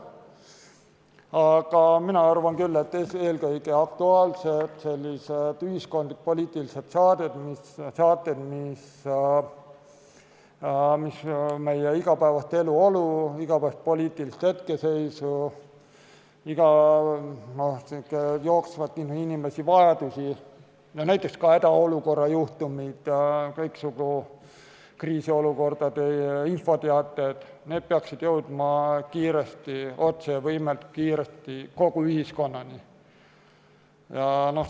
Aga mina arvan küll, et eelkõige aktuaalsed ühiskondlik-poliitilised saated, mis meie igapäevast eluolu, igapäevast poliitilist hetkeseisu kajastavad, räägivad jooksvalt inimeste vajadustest, näiteks ka hädaolukorra juhtumite korral kõiksugu kriisiolukordade infoteated, peaksid jõudma otse ja võimalikult kiiresti kogu ühiskonnani.